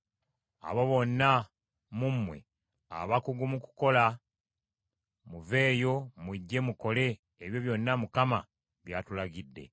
“Abo bonna mu mmwe abakugu mu kukola, muveeyo mujje mukole ebyo byonna Mukama by’atulagidde: